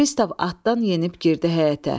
Pristav atdan enib girdi həyətə.